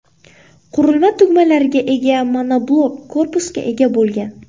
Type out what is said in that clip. Qurilma tugmalarga ega monoblok korpusga ega bo‘lgan.